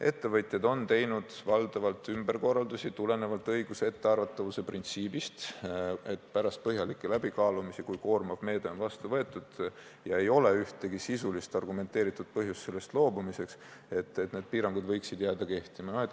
Ettevõtjad on teinud valdavalt ümberkorraldusi tulenevalt õiguse ettearvatavuse printsiibist, et pärast põhjalikke läbikaalumisi, kui koormav meede on vastu võetud ja ei ole ühtegi sisulist argumenteeritud põhjust sellest loobumiseks, võiksid need piirangud jääda kehtima.